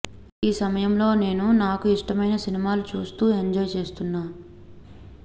ఈ సమయంలో నేను నాకు ఇష్టమైన సినిమాలు చూస్తూ ఎంజాయ్ చేస్తున్నా